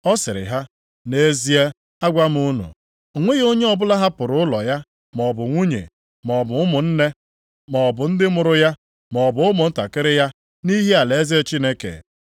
Ọ sịrị ha, “Nʼezie, agwa m unu, o nweghị onye ọbụla hapụrụ ụlọ ya, maọbụ nwunye, maọbụ ụmụnne, maọbụ ndị mụrụ ya, maọbụ ụmụntakịrị ya, nʼihi alaeze Chineke